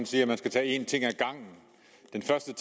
der er en